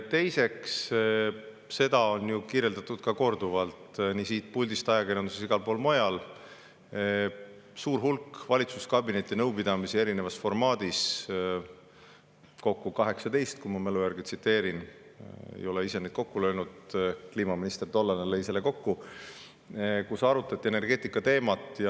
Teiseks, seda on ju kirjeldatud korduvalt nii siit puldist, ajakirjanduses kui ka igal pool mujal, et oli suur hulk valitsuskabineti nõupidamisi erinevas formaadis – kokku 18, kui ma mälu järgi, ei ole ise neid kokku löönud, tollane kliimaminister lõi selle kokku –, kus arutati energeetikateemat.